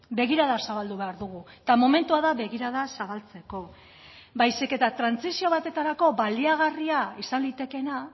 begirada zabaldu behar dugu eta momentua da begirada zabaltzeko baizik eta trantsizio batetarako baliagarria izan litekeena